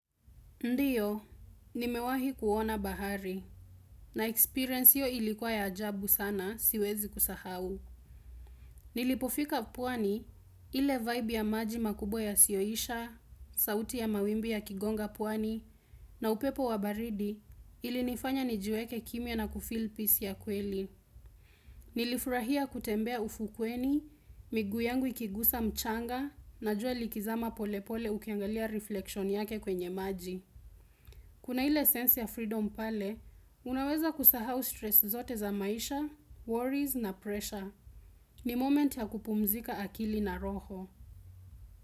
Ndiyo, nimewahi kuona bahari, na experience hiyo ilikuwa ya ajabu sana, siwezi kusahau. Nilipofika pwani, ile vibe ya maji makubwa yasiyoisha, sauti ya mawimbi yakigonga pwani, na upepo wa baridi, ilinifanya nijiweke kimya na kufill peace ya kweli. Nilifurahia kutembea ufukweni, miguu yangu ikigusa mchanga, na jua likizama pole pole ukiangalia reflection yake kwenye maji. Kuna ile sensi ya freedom pale, unaweza kusahau stress zote za maisha, worries na pressure. Ni moment ya kupumzika akili na roho.